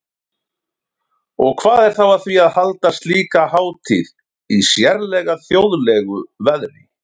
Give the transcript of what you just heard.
Og hvað er þá að því að halda slíka hátíð í sérlega þjóðlegu veðri?